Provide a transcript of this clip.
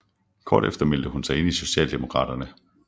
Kort efter meldte hun sig ind i Socialdemokraterne